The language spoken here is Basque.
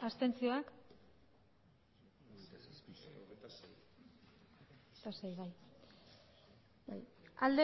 abstentzioa